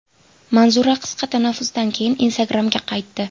Manzura qisqa tanaffusdan keyin Instagram’ga qaytdi.